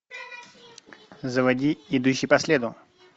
заводи идущий по следу